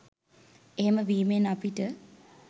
එහෙම වීමෙන් අපිට